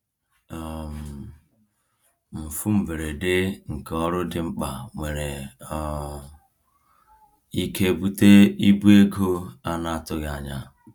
um Mfu mberede nke ọrụ dị mkpa nwere um ike bute ibu ego a naghị atụ anya.